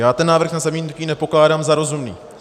Já ten návrh na zamítnutí nepokládám za rozumný.